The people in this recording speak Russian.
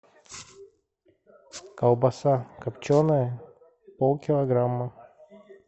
колбаса копченая полкилограмма